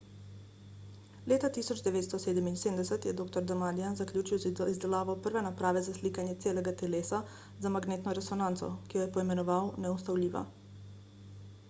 leta 1977 je dr. damadian zaključil z izdelavo prve naprave za slikanje celega telesa z magnetno resonanco ki jo je poimenoval »neustavljiva«